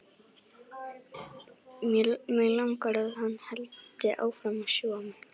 Mig langar að hann haldi áfram að sjúga mig.